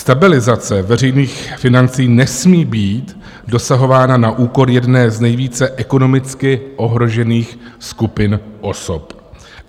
Stabilizace veřejných financí nesmí být dosahováno na úkor jedné z nejvíce ekonomicky ohrožených skupin osob.